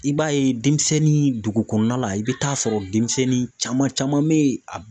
I b'a ye denmisɛnnin dugu kɔnɔna la i bɛ taa sɔrɔ denmisɛnnin caman bɛ yen a